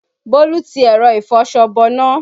Bólú ti ẹ̀rọ ìfọṣọ bọná